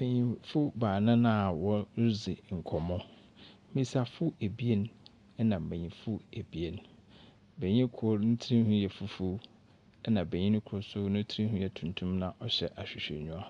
Mpanyimfo baanan a wɔredzi nkɔmbɔ. Mbesiafo ebien na mbenyimfo ebien. Benyin kor, ne tinhwi yɛ fufuw, ɛnna benyin kor nso ne tinhwi yɛ tuntum na ɔhyɛ ahwehwɛnyiwa.